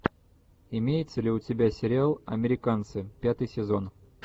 имеется ли у тебя сериал американцы пятый сезон